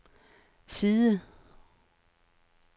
side